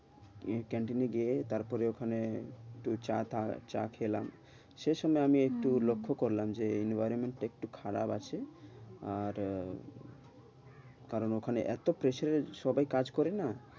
ক্যান্টিনে গিয়ে তারপরে ওখানে একটু চা টা চা খেলাম সে সময় আমি একটু লক্ষ্য করলাম যে environment টা একটু খারাপ আছে আর আহ কারণ ওখানে এতো pressure রে সবাই কাজ করে না।